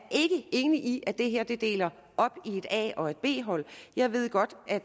enig i at det her deler op i et a og et b hold jeg ved godt at